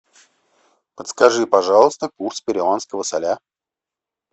подскажи пожалуйста курс перуанского соля